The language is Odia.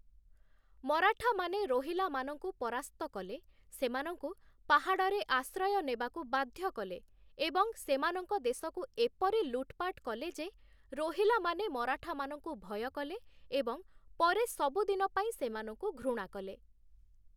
ମରାଠାମାନେ ରୋହିଲାମାନଙ୍କୁ ପରାସ୍ତ କଲେ, ସେମାନଙ୍କୁ ପାହାଡ଼ରେ ଆଶ୍ରୟ ନେବାକୁ ବାଧ୍ୟ କଲେ ଏବଂ ସେମାନଙ୍କ ଦେଶକୁ ଏପରି ଲୁଟ୍‌ପାଟ୍‌ କଲେ ଯେ ରୋହିଲାମାନେ ମରାଠାମାନଙ୍କୁ ଭୟ କଲେ ଏବଂ ପରେ ସବୁଦିନ ପାଇଁ ସେମାନଙ୍କୁ ଘୃଣା କଲେ ।